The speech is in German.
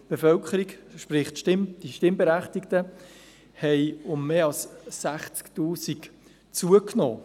Die Bevölkerung, sprich die Stimmberechtigten, hat um mehr als 60 000 zugenommen.